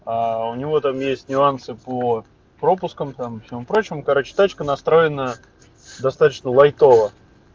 у него там есть нюансы по пропускам там всего прочего короче тачка настроена достаточно лайтово